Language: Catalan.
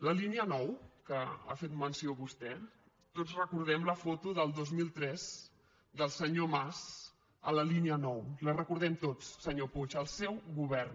la línia nou que n’ha fet menció vostè tots recordem la foto del dos mil tres del senyor mas a la línia nou la recordem tots senyor puig el seu govern